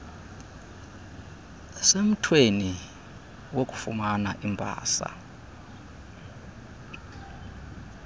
semthweni wokufumana imbasa